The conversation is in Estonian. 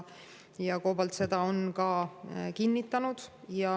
COBALT on seda ka kinnitanud.